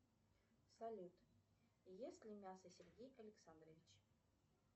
салют ест ли мясо сергей александрович